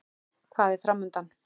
Hvað er framundan?